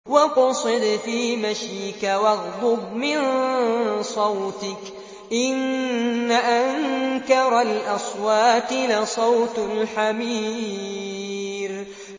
وَاقْصِدْ فِي مَشْيِكَ وَاغْضُضْ مِن صَوْتِكَ ۚ إِنَّ أَنكَرَ الْأَصْوَاتِ لَصَوْتُ الْحَمِيرِ